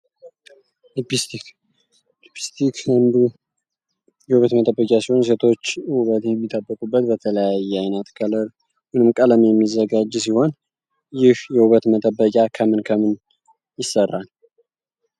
ሊፒስቲክ እንግዲህ የውበት መጠበቂያ ሲሆን ሴቶች ውበት የሚጠብቁት በተለያየ አይነት ከለር ወይም ቀለም የሚዘጋጅ ሲሆን ይህ የውበት መጠበቂያ ከምን ከምን ይሰራል?